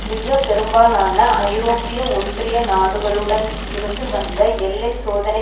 மிக பெரும்பாலான ஐரோப்பிய ஒன்றிய நாடுகளுடன் இருந்து வந்த எல்லை சோதனை